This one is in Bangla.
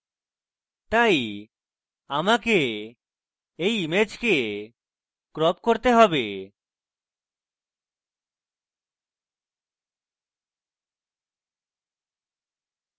তাই আমাকে এই image crop করতে have